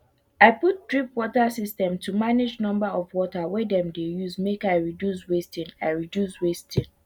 i put drip water system to manage number of water wey dem use make i reduce wasting i reduce wasting